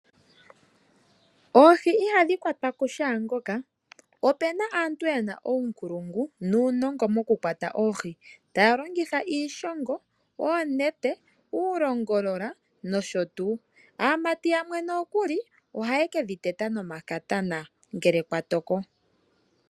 Oohi ihadhi kwatwa kushaangoka, opu na aantu yena uunkulungu nuunongo mokukwata oohi taya longitha iishongo, oonete, uulongolola, nosho tuu. Aamati yamwe nokuli ohaye ke dhi teta nomakatana ngele kwa toko.